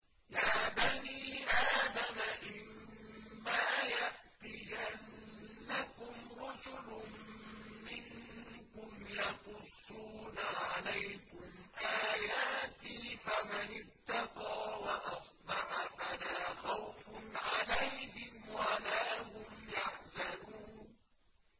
يَا بَنِي آدَمَ إِمَّا يَأْتِيَنَّكُمْ رُسُلٌ مِّنكُمْ يَقُصُّونَ عَلَيْكُمْ آيَاتِي ۙ فَمَنِ اتَّقَىٰ وَأَصْلَحَ فَلَا خَوْفٌ عَلَيْهِمْ وَلَا هُمْ يَحْزَنُونَ